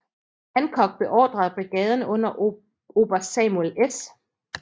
Hancock beordrede brigaden under oberst Samuel S